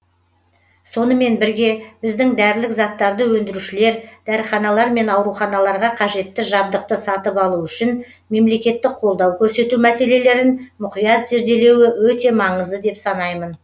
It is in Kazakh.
сонымен бірге біздің дәрілік заттарды өндірушілер дәріханалар мен ауруханаларға қажетті жабдықты сатып алу үшін мемлекеттік қолдау көрсету мәселелерін мұқият зерделеуі өте маңызды деп санаймын